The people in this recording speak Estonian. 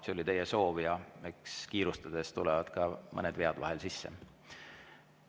See oli teie soov ja eks kiirustades tulevad ka mõned vead vahel sisse.